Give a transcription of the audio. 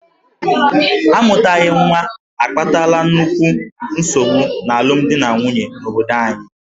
A mụtaghị nwa akpatala nnukwu nsogbu n'alụmdi na nwunye n'obodo anyị.